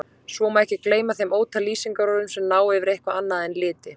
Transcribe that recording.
Svo má ekki gleyma þeim ótal lýsingarorðum sem ná yfir eitthvað annað en liti.